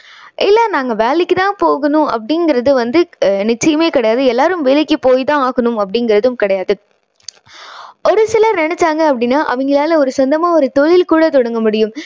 இல்லை நாங்க வேலைக்கு தான் போகணும் அப்படிங்கறது வந்து நிச்சயமே கிடையாது. எல்லாரும் வேலைக்கு போய் தான் ஆகணும் அப்படிங்கறதும் கிடையாது. ஒரு சிலர் நினைச்சாங்க அப்படின்னா அவங்களால ஒரு சொந்தமா ஒரு தொழில் கூட தொடங்க முடியும்.